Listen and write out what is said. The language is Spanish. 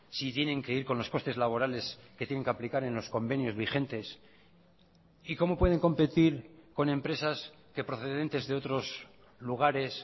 si tienen que ir con los costes laborales que tienen que aplicar en los convenios vigentes y cómo pueden competir con empresas que procedentes de otros lugares